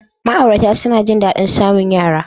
Ma'aurata suna jin daɗin samun yara.